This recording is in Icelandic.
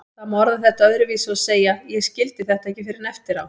Það má orða þetta öðruvísi og segja: Ég skildi þetta ekki fyrr en eftir á.